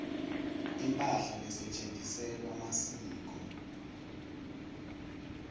imphahla lesetjentisela masiko